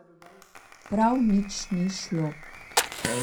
Prav nič ni šlo.